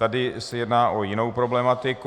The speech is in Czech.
Tady se jedná o jinou problematiku.